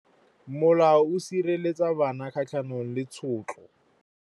Molao o sireletsa bana kgatlhanong le tshotlo.